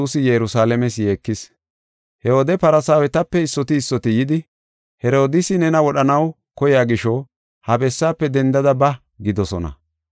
He wode Farsaawetape issoti issoti yidi, “Herodiisi nena wodhanaw koyiya gisho ha bessaafe dendada ba” gidoosona.